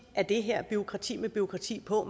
er det her bureaukrati med bureaukrati på